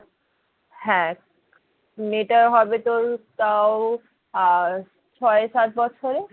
হ্যাঁ মেয়েটা হবে তোর তাও আহ ছয় সাত বছরের